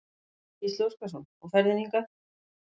Gísli Óskarsson: Og ferðin hingað?